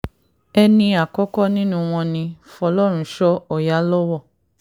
ẹni àkọ́kọ́ nínú wọn ni fọlọ́runṣọ ọ̀yálọ́wọ́